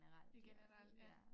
I generelt ja